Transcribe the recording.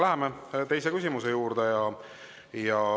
Läheme teise küsimuse juurde.